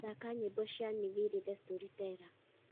thaka nyĩmbo cĩa nviiri the storyteller